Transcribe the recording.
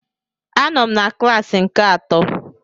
Anọ m na klassi nke atọ